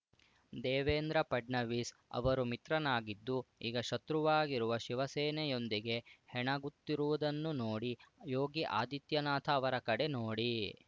ದೇವೇಂದ್ರ ಫಡ್ನವೀಸ್‌ ಅವರು ಮಿತ್ರನಾಗಿದ್ದು ಈಗ ಶತ್ರುವಾಗಿರುವ ಶಿವಸೇನೆಯೊಂದಿಗೆ ಹೆಣಗುತ್ತಿರುವುದನ್ನು ನೋಡಿ ಯೋಗಿ ಆದಿತ್ಯನಾಥ ಅವರ ಕಡೆ ನೋಡಿ